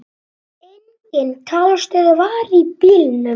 Engin talstöð var í bílnum.